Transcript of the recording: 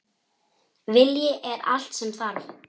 Vilji er allt sem þarf!